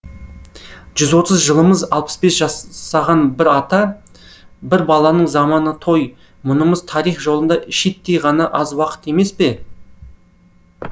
жүз отыз жылымыз алпыс бес жасаған бір ата бір баланың заманы той мұнымыз тарих жолында шиттей ғана аз уақыт емес пе